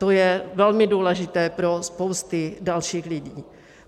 To je velmi důležité pro spousty dalších lidí.